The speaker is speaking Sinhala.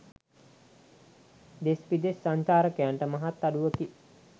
දෙස් විදෙස් සංචාරකයන්ට මහත් අඩුවකි.